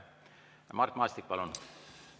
Mart Maastik, palun!